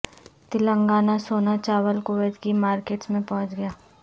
تلنگانہ سونا چاول کویت کی مارکیٹس میں پہنچ گیا